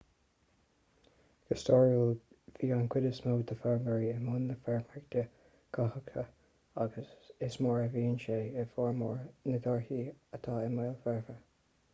go stairiúil bhí an chuid is mó d'fheirmeoirí i mbun na feirmeoireachta cothaitheacha agus is mar seo a bhíonn sé i bhformhór na dtíortha atá i mbéal forbartha